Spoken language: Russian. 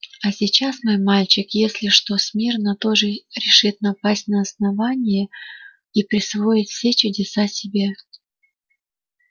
а сейчас мой мальчик если что смирно тоже решит напасть на основание и присвоить все чудеса себе